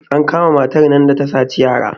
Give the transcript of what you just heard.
an kama matar nan da ta saci yara